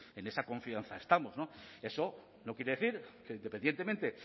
pues en esa confianza estamos eso no quiere decir que independientemente